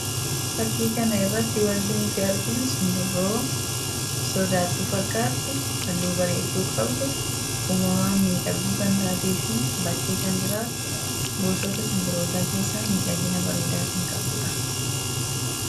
Fakkii kana irratti wanti nuti arginu simbirroo sodaattuu fakkaattu halluu baredduu qabdu uumamaan miidhagduu kan taatee fi bakkee kan jiraattu gosoota simbirootaa keessa miidhagina bariidaa kan qabduudha.